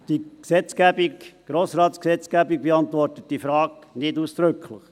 Die Grossratsgesetzgebung beantwortet diese Frage nicht ausdrücklich.